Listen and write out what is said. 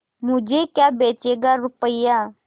मुझे क्या बेचेगा रुपय्या